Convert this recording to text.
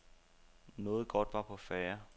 Noget godt var på færde.